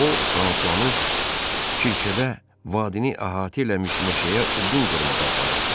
O Fransuanı Kircədə vadini əhatə eləmiş meşəyə odun qırmağa aparırdı.